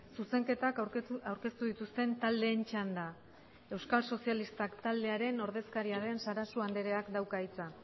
zuzenketak aurkeztu dituzten taldeen txanda euskal sozialistak taldearen ordezkaria den sarasua andreak dauka hitza